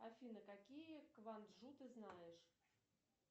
афина какие кванджу ты знаешь